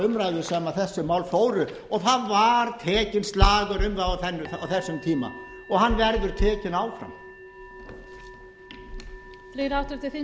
umræðu sem þessi mál fóru og það var tekinn slagur um það á þessum tíma og hann verður tekinn áfram